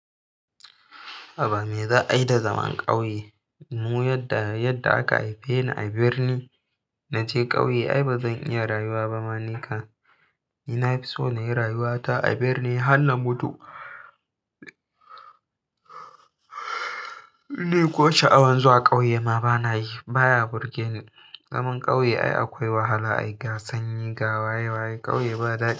Haba me za a yi da zaman ƙauye? Mu yadda, yadda aka haife ni a birni. Naje ƙauye ai ba zan iya rayuwa ba. Ma ni kan, ni na fi so na yi rayuwata a birni har na mutu. Ni ko sha'awan zuwa ƙauye ma ba na yi, baya burge ni. Zaman ƙauye ai akwai wahala, ai ga sanyi, ga waye waye. Ƙauye ba daɗi.